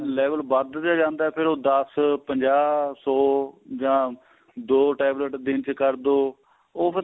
level ਵੱਧਦਾ ਜਾਂਦਾ ਫੇਰ ਉਹ ਦੱਸ ਪੰਜਾਹ ਸੋ ਜਾਂ ਦੋ tablet ਦਿਨ ਚ ਕਰਦੋ ਉਹ ਫਿਰ